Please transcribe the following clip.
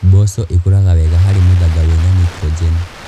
Mboco ikũraga wega harĩ mũthanga wĩna nitrogen.